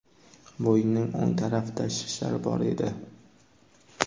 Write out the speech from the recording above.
Bo‘ynining o‘ng tarafida shishlar bor edi.